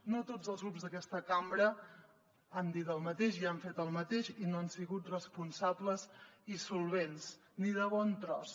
no tots els grups d’aquesta cambra han dit el mateix i han fet el mateix i no han sigut responsables i solvents ni de bon tros